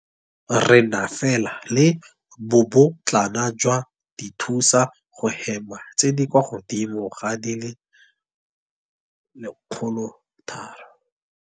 Re na fela le bobotlana jwa dithusa go hema tse di kwa godimo ga di le 103.